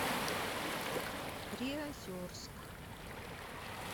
приозерск